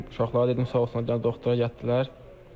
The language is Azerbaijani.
Uşaqlara dedim sağ olsunlar gəlib doktora gətirdilər.